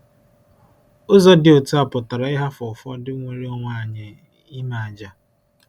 Ụzọ dị otu a pụtara ịhapụ ụfọdụ nnwere onwe anyị, ime àjà.